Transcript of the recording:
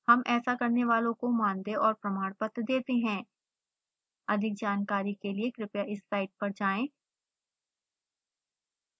हम ऐसा करने वालों को मानदेय और प्रमाण पत्र देते हैं अधिक जानकारी के लिए कृपया इस साइट पर जाएं